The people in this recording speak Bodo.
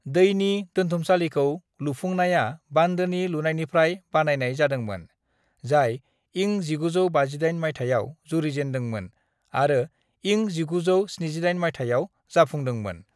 "दैनि दोनथुमसालिखौ लुफुंनाया बान्दोनि लुनायनिफ्राय बानायनाय जादोंमोन, जाय इं 1958 माइथायाव जुरिजेन्दोंमन आरो इं 1978 माइथायाव जाफुंदोंमोन।"